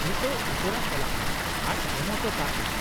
-ᱱᱤᱛᱚᱜ ᱩᱥᱟᱹᱨᱟ ᱪᱟᱞᱟᱜ ᱢᱮ ᱟᱨ ᱮᱢ ᱚᱴᱚ ᱠᱟᱜᱼᱢᱮ ᱾